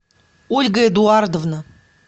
ольга эдуардовна